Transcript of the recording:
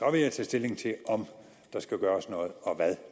jeg tage stilling til om der skal gøres noget og hvad